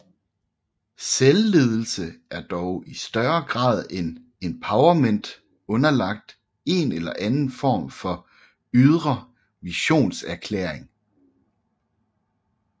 Selvledelse er dog i større grad end empowerment underlagt en eller anden form for ydre missionserklæring